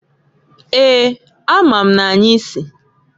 Eeǃ A ma m n'anyị si.